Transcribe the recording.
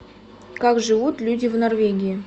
как живут люди в норвегии